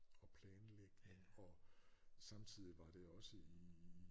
Og planlægning og samtidig var det også ih